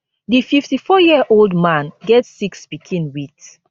di fifty-four year old man get six pikin wit